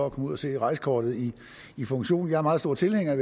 at komme ud og se rejsekortet i funktion jeg er meget stor tilhænger af